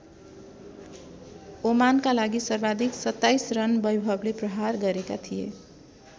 ओमानका लागि सर्वाधिक २७ रन बैभवले प्रहार गरेका थिए।